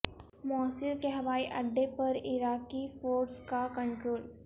موصل کے ہوائی اڈے پر عراقی فورسز کا کنٹرول